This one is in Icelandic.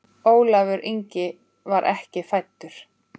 Ólafur Ingi var ekki fæddur.